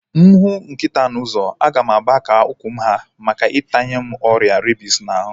Mụ hụ nkịta n'ụzọ, a ga m agba ka ụkwụ m ha maka itanye m ọrịa rabies n'ahu